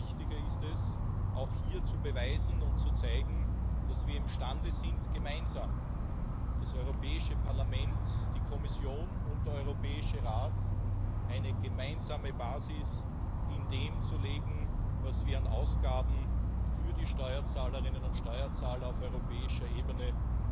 Umso wichtiger ist es, hier zu beweisen und zu zeigen, dass wir imstande sind, gemeinsam das Europäische Parlament, die Kommission und der Europäische Rat eine gemeinsame Basis in dem zu legen, wofür wir an Ausgaben gegenüber den Steuerzahlerinnen und Steuerzahlern auf europäischer Ebene